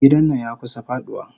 Gidan nan yakusa faduwa.